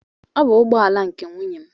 Ọ bụ ụgbọala nke nwunye m